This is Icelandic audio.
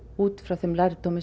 út frá þeim lærdómi